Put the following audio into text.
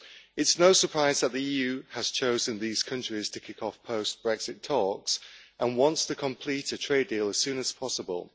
It is no surprise that the EU has chosen these countries to kick off post Brexit talks and wants to complete a trade deal as soon as possible.